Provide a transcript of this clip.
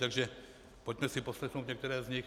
Takže pojďme si poslechnout některé z nich.